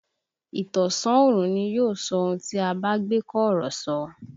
Ìtànṣán oòrùn ni yóò sọ ohun tí a bá gbé kọ̀rọ̀ ṣe